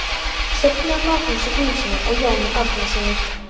Söfnuð af Magnúsi Grímssyni og Jóni Árnasyni.